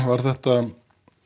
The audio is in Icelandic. er þetta